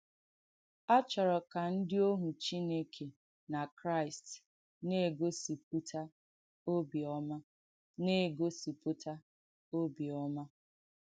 À chọ̀rọ̀ kà ndí òhù Chìnèkè nà Kràị́st̀ nà-ègósìpútà òbìọ́mà. nà-ègósìpútà òbìọ́mà.